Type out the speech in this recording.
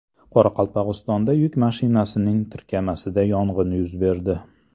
Qoraqalpog‘istonda yuk mashinasining tirkamasida yong‘in yuz berdi.